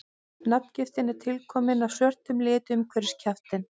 nafngiftin er tilkomin af svörtum lit umhverfis kjaftinn